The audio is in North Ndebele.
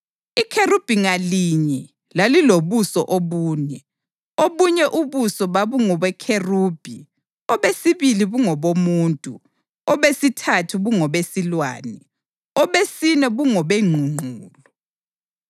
Ikherubhi ngalinye lalilobuso obune: Obunye ubuso babungobekherubhi, obesibili bungobomuntu, obesithathu bungobesilwane, obesine bungobengqungqulu.